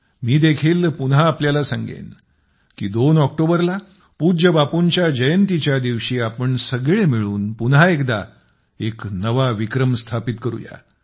मी देखील पुन्हा आपल्याला सांगेन की दोन ऑक्टोबर ला पूज्य बापूंच्या जयंतीच्या दिवशी आपण सगळे मिळून पुन्हा एकदा एक नवा विक्रम स्थापित करू या